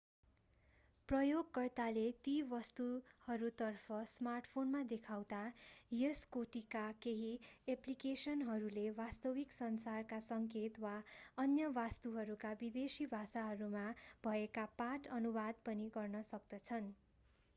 प्रयोगकर्ताले ती वस्तुहरूतर्फ स्मार्टफोनमा देखाउँदा यस कोटिका केही एप्लिकेसनहरूले वास्तविक संसारका संकेत वा अन्य वस्तुहरूका विदेशी भाषाहरूमा भएका पाठ अनुवाद पनि गर्न सक्दछन्